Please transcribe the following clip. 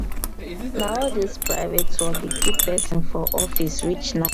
na so all dis private work dey keep pesin for office reach night.